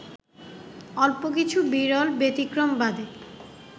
অল্প কিছু বিরল ব্যতিক্রম বাদে